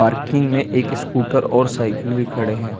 Parking में एक scooter और साइकिल भी खड़े हैं।